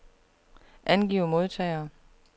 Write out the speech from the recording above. Angiv modtagere.